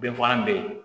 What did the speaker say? Denfalan bɛ yen